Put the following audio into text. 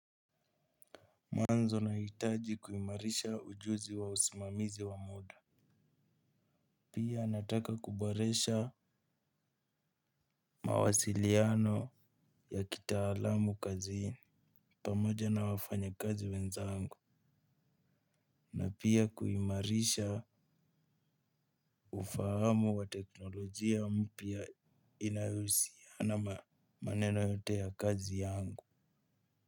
Mwanzo nahitaji kuimarisha ujuzi wa usimamizi wa muda. Pia nataka kuboresha mawasiliano ya kitaalamu kazini pamoja na wafanyakazi wenzangu na pia kuimarisha ufahamu wa teknolojia mpya inayousiana maneno yote ya kazi yangu.